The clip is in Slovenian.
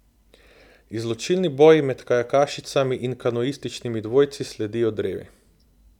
Izločilni boji med kajakašicami in kanuističnimi dvojci sledijo drevi.